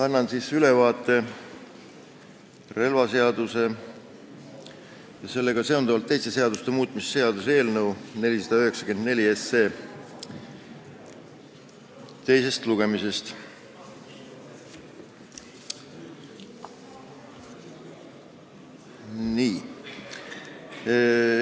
Annan ülevaate relvaseaduse muutmise ja sellega seonduvalt teiste seaduste muutmise seaduse eelnõu 494 teisest lugemisest.